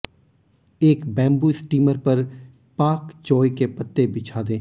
एक bamboo steamer पर pak choi के पत्ते बिछा दें